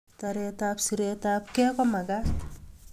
Taret ab siret ab gei komakat